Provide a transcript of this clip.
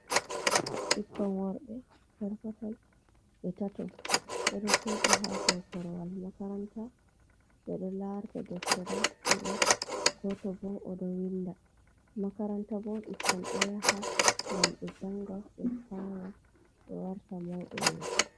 Ɓikkon worbe perpetoi be tatto, ɓeɗo joɗi ha dow korowal makaranta ɓeɗo larta deftere ɗiɗo goto bo oɗo winda, makaranta bo ɓikkon ɗo yaha ngam ɓe janga ɓe fama bo warta mauɓe yeso.